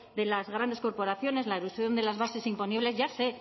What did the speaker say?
de las grandes corporaciones la elusión de las bases imponibles ya sé